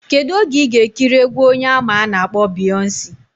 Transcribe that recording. Kedu oge iga ekiri egwu onye ama ana akpo Beyonce?